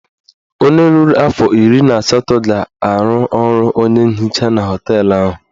Onye ruru afọ iri na asatọ ga-arụ ọrụ onye nhicha na họteelụ ahụ.